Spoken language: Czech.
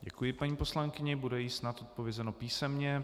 Děkuji, paní poslankyně, bude jí snad odpovězeno písemně.